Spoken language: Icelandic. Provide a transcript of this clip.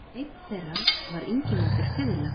Einn þeirra var Ingimundur fiðla.